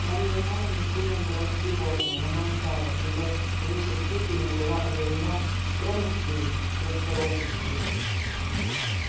марья ивановна сильно была встревожена но молчала ибо в высшей степени была одарена скромностию и осторожностию